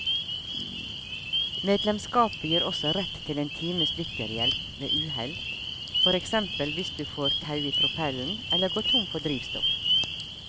Medlemskapet gir også rett til en times dykkerhjelp ved uhell, for eksempel hvis du får tau i propellen eller går tom for drivstoff.